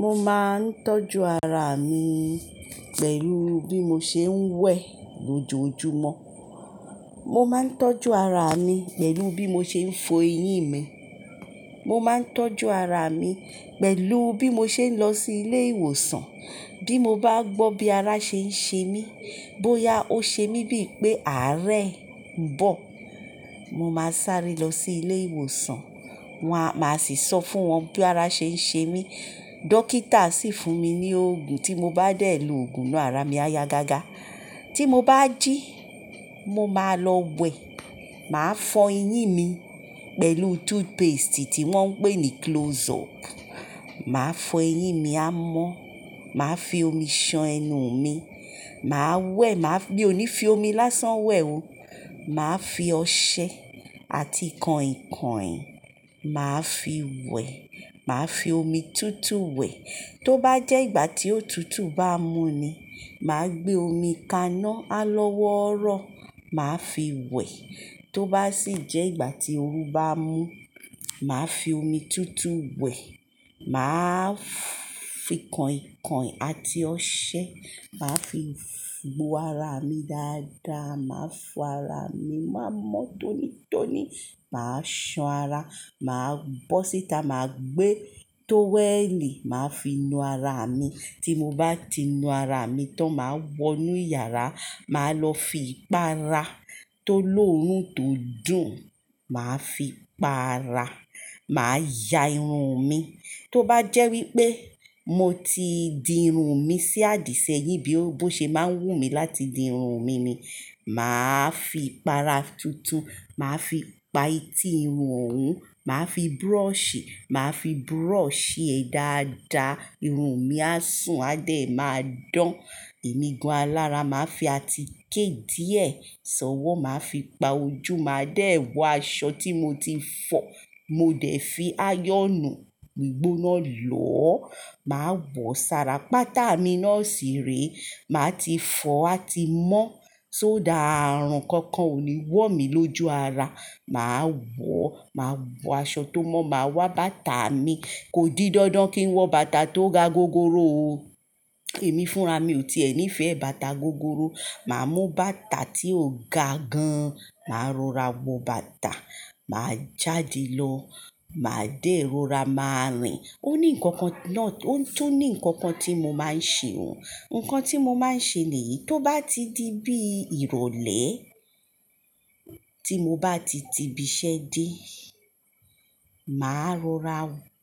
Mo máa ń tọ́jú ara mi pẹ̀lú bí mo ṣe ń wẹ̀ lójoojúmọ́. Mo máa ń tọ́jú ara mi pẹ̀lú bí mo ṣe ń fo eyín mi. Mo máa ń tọ́jú ara mi pẹ̀lú bí mo ṣe ń lọ sí ilé ìwòsàn. Bí mo bá gbọ́ bí ara ṣe ń ṣe mí, bóyá ó ṣe mí bí ì pé àárẹ̀ ń bọ̀, mo máa sáré lọ sí ilé ìwòsàn. Wọn a máa sì sọ fún wọn bí ara ṣe ń ṣe mí ii Dókítà sì fún mi ní òògùn, tí mo bá dẹ̀ lo òògùn náà, ara mi á ya gágá. Tí mo bá jí, mo máa lọ wẹ̀. Màá fọ eyín mi pẹ̀lú toothpaste tí wọ́n ń pè ní Close-up. Màá fọ eyín mi, á mọ́. Màá fi omi ṣan ẹnu mi. Màá wẹ̀, màá fi mi ò ní fi omi lásán wẹ̀ ó, màá fi ọṣẹ àti kọ̀ìnkọ̀ìn, màá fi wẹ̀. Màá fi omi tútù wẹ̀. Tó bá jẹ́ ìgbà tí òtútù bá mú ni, màá gbé omi kaná á lọ́wọ́orọ́, màá fi wẹ̀. Tó bá sì jẹ́ ìgbà tí òru bá mú, màá fi omi tútù wẹ̀ e. Màá fii kọ̀ìnkọ̀ìn àti ọṣẹ, màá fi ii gbo ara mi dáadáa. Màá fọ ara mi, màá mọ́ tónítóní, màá ṣan ara, màá bọ́ síta, màá gbé tówẹ́ẹ̀lì, màá fi nu ara mi. Tí mo bá ti nu ara mi tán, màá wọ inú iyàrá, màá lọ fi ipaara. Tó lóòrùn tó dùn, màá fi pa ara. Màá ya irun mi. Tó bá jẹ́ wípé mu mo ti di irun mi sí àdìsẹ́yìn bí o bo ṣe máa ń wù mí láti di irun mi ni, màá fi ipa ara tuntun. Màá fi pa etí irun òun, màá fi brushi, màá fi brushi e dáadáa. Irun mi á sùn, á dẹ̀ máa dán. Emígun alára màá fi àtiké díè sọ́wọ́, màá fi pa ojú. Màá dẹ̀ wọ aṣọ tí mo ti fọ. Mo dẹ̀ fi ayọ̀nú gbigbóná lọ́ o. Màá wọ sara pátá mi náà síre e. Màá ti fọ o àti mọ́. Só dà ààrùn kankan ò ní wọ̀ mí lóju ara a Màá wọ, màá wọ aṣọ tó mọ́, màá wá bàtà mi. Kò di dandan kí n wọ bàtà tó ga gogoro o. Èmi fúnra mi ò ti è ní ìfẹ bàtà gogoro. Màá mú bàtà tí ó ga gan. Màá rora wọ bàtà a, màá jáde lọ, màá dẹ̀ rora, màá rìn. Ó ní nǹkankan náà, ó tún ní nǹkankan tí mo máa ń ṣe o. Nǹkan tí mo máa n ṣe niyì, tó bá ti di bí ìrọ̀lẹ́, tí mo bá ti ti ibi iṣẹ́ dé e, màá rora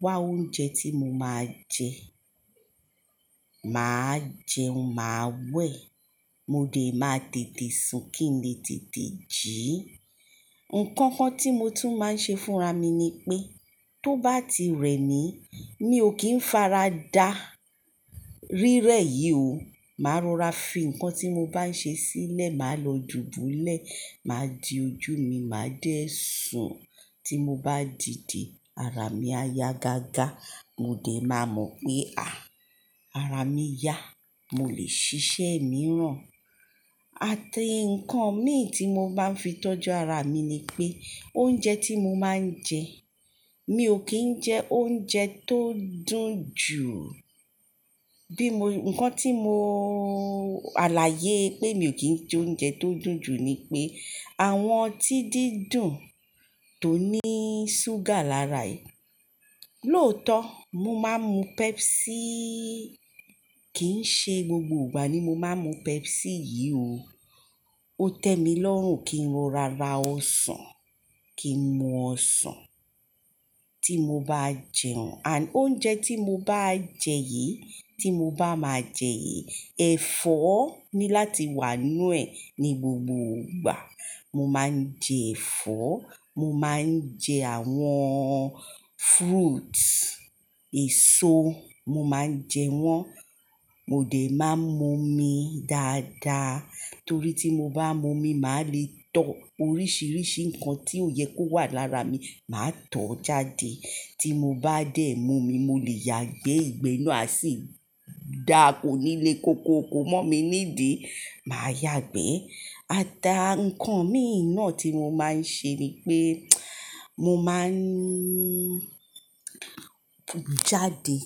wá oúnjẹ tí mo máa jẹ. Màá jẹun, màá wẹ̀. Mo dẹ̀ máa tètè sùn kí n lè tètè jí. Nǹkan kan tí mo tún máa ń ṣe fúnra mi ni pé tó bá ti rẹ̀ mí, mi ò kí ń faradà. Rírẹ́ yìí o. Màá rora fi ǹkan tí mo bá ń ṣe sílẹ̀, màá lọ dubúlẹ̀. Màá di ojú mi, màá dẹ̀ sùn. Tí mo bá dìde, ara mi á ya gágá. Mo dẹ̀ máa mọ̀ pé à, ara mi ya. Mo lè ṣiṣẹ́ mìíràn. Àti ǹkan mìn tí mo ma ń fi tọ́jú ara mi ni pé oúnjẹ tí mo máa ń jẹ, mi ò kí ń jẹ oúnjẹ tó dùn jù u. Bí mo-- ǹkan tí mo alààyè pé mi ò kí joúnjẹ tó dùn jù ni pé àwọn ọtí dídùn tó ní ṣúgà lárà yií. Lóòótọ́, mo máa ń mú Pepsii. Kì í ṣe gbogbo ìgbà ni mo máa ń mú Pepsi yìí o. Ó tẹ́ mi lọ́rùn kí n rora ra ọsàn, kí n mu ọsàn. Tí mo bá jẹun, and oúnjẹ tí mo bá ń jẹ yìí, tí mo bá máa jẹ yìí, ẹ̀fọ́ ni láti wà nínú ẹ̀ ní gbogbo ìgbà. Mo máa ń jẹ ẹ̀fọ́. Mo máa ń jẹ àwọn fruits, èso mo ma n jewon, mo de ma n mu omi daada, tori ti mo ba momi ma le to, orisirisi nkan ti o ye ko wa lara mi, ma to o jade. Ti mo ba de momi, mo le yagbe, igbe naa a si da ko ni le kokoko momi nidii, ma yagbe e. Ataa nkan min naa ti mo ma n se ni pe mo ma n ki n jade.